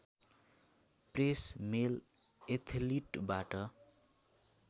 press mail एथलीटबाट